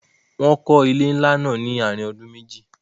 Wọ́n kó ilé ńlá náà láàrin ọdún meji